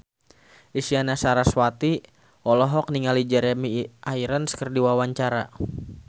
Isyana Sarasvati olohok ningali Jeremy Irons keur diwawancara